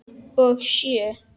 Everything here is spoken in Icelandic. Og sjö?